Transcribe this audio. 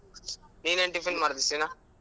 ನೀನ್ ಏನ್ tiffin ಮಾಡ್ದೆ ಸೀನಾ?